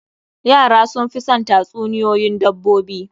Yara sun fi son tatsuniyoyin dabbobi.